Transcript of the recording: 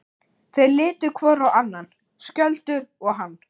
Þeir litu hvor á annan, Skjöldur og hann.